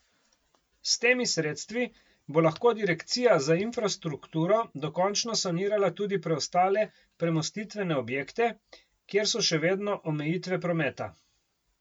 S temi sredstvi bo lahko direkcija za infrastrukturo dokončno sanirala tudi preostale premostitvene objekte, kjer so še vedno omejitve prometa.